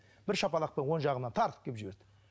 бір шапалақпен оң жағымнан тартып кеп жіберді